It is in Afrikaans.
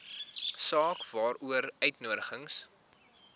saak waaroor uitnodigings